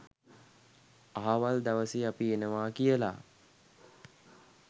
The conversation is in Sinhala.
අහවල් දවසේ අපි එනවා කියලා.